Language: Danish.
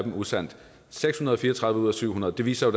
usandt seks hundrede og fire og tredive ud af syv hundrede det viser